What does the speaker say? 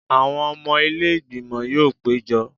Àwọn ọmọ ilé ìgbìmọ̀ yóò péjọ